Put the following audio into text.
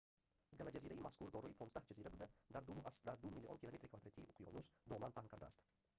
галаҷазираи мазкур дорои 15 ҷазира буда дар 2,2 млн. км2-и уқёнус доман паҳн кардааст